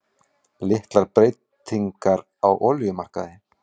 Litlar breytingar á olíumarkaði